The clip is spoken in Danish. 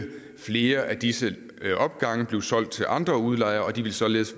flere af disse opgange blive solgt til andre udlejere og de ville således